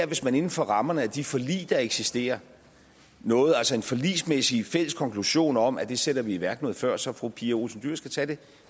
hvis man inden for rammerne af de forlig der eksisterer nåede en forligsmæssig fælles konklusion om at det sætter vi i værk noget før så fru pia olsen dyhr skal tage det